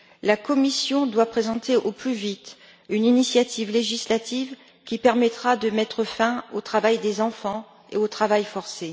La Commission doit présenter au plus vite une initiative législative qui permettra de mettre fin au travail des enfants et au travail forcé.